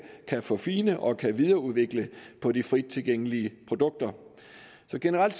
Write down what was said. kan få fine produkter og kan videreudvikle på de frittilgængelige produkter så generelt